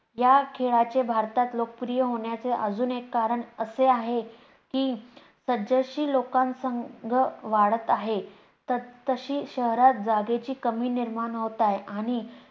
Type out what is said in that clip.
या खेळlचे भारतात लोकप्रिय होण्याचे अजून एक कारण असे आहे की जस जशी लोकसंख्या वाढत आहे तस-तशी शहरात जागेची कमी निर्माण होत आहे.